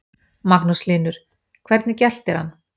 Magnús Hlynur: Hvernig geltir hann?